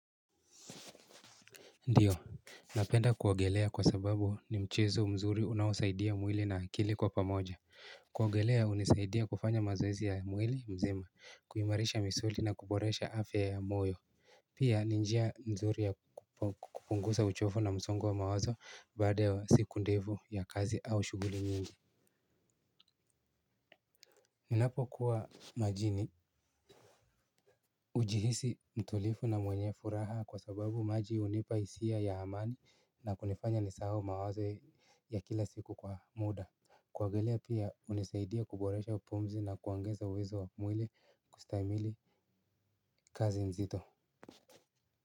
Ndiyo. Napenda kuogelea kwa sababu ni mchezo mzuri unaosaidia mwili na akili kwa pamoja. Kuogelea hunisaidia kufanya mazoezi ya mwili mzima kuimarisha misuli na kuboresha afya ya moyo. Pia ni njia nzuri ya kupunguza uchovu na msongo wa mawazo baada ya siku ndefu ya kazi au shughuli nyingi. Ninapokuwa majini hujihisi mtulivu na mwenye furaha kwa sababu majini hunipa hisia ya amani na kunifanya nisahau mawazo ya kila siku kwa muda. Kuogelea pia hunisaidia kuboresha pumzi na kuongeza uwezo wa mwili kustamili kazi nzito.